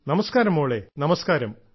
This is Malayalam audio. നമസ്കാരം മോളെ നമസ്കാരം